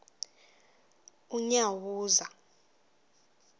unyawuza